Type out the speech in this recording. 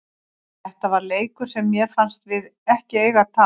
Þetta var leikur sem mér fannst við ekki eiga að tapa.